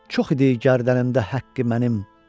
Çox idi gərdənimdə haqqı mənim.